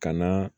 Ka na